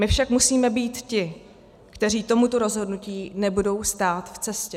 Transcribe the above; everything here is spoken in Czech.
My však musíme být ti, kteří tomuto rozhodnutí nebudou stát v cestě.